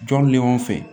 Jɔn bɛ ɲɔgɔn fɛ